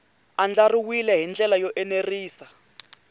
andlariwile hi ndlela yo enerisa